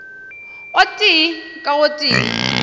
o tee ka o tee